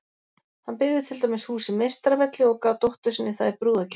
Hann byggði til dæmis húsið Meistaravelli og gaf dóttur sinni það í brúðargjöf.